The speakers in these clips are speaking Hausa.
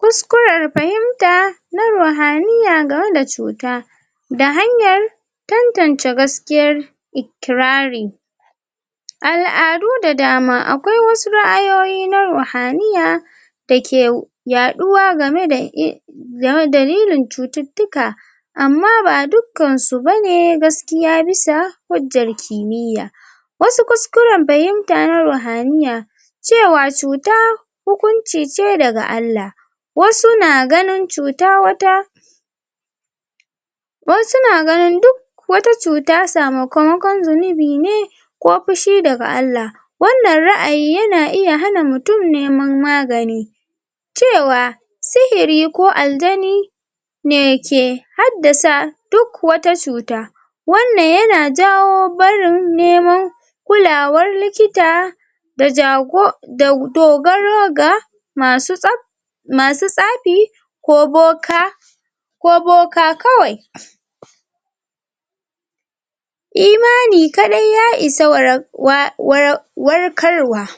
kuskurer fahimta na ruhaniya gameda cuta da hayan tantance gaskiyar kirari al'adu da dama akwai wasu ra'ayoyi na ruhaniya dake yaɗuwa game da ]um] game dalilin cututtuka amma ba duk kan su bane gaskiya bisa hujjar kimiya wasu kuskuren fahimta na ruhaniya cewa cuta hukunci ce daga ALLaH wasu na ganin cuta wata wasu na ganin duk wata cuta samu kamakon zunubi ne ku pushi daga ALLAH wanan ra'ayi yana iya hana mutun neman magani cewa sihiri ko al'jani ne ke haddasa duk wata cuta wanan yana jawo barin nemo kulawar likita da jago um da dogaro ga masu tsab masu tsafi ko boka ko boka kawai imani kadai ya isa wara wa wara um warkarwa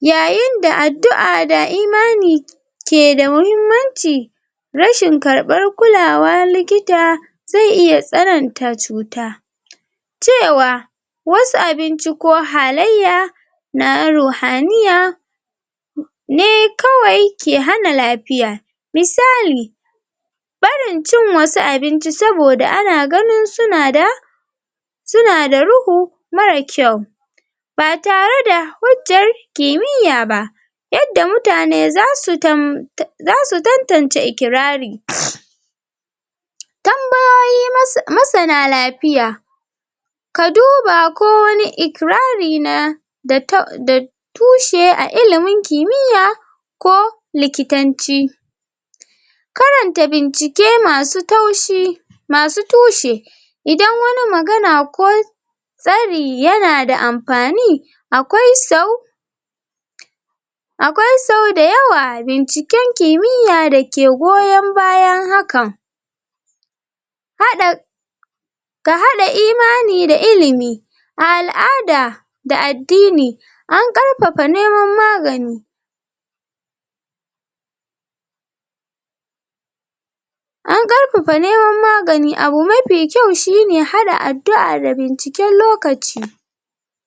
yayin da addu'a da imani ke da muhimmanci rashin karban kulwa likita ze iya tsananta cuta cewa wasu abinci ko halayya na ruhaniya ne kawai ke hana lapiya misali barin cin wasu abinci saboda ana ganin suna da sunada ruhu mara kyau batare da hujjar kimiya ba yadda mutane zasu tam zasu tantance ikirari tambayoyi mas[um] masana lapiya ka duba ko wani ikirari na da ta da tushe a ilimin kimiya ko likitanci karanta bincike masu taushi masu tushe idan wani magana ko tsari yanada anpani akwai sau akwai sau dayawa binciken kimiya dake goyon bayan hakan haɗa ka haɗa imani da ilimi a al'ada da addini an karfafa neman magani an karfafa neman magani ,abu mafi kyau shine haɗa addu'a da binciken lokaci